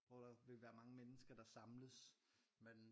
Hvor der ville være mange mennesker der samles men